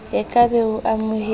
o ka be o amohetse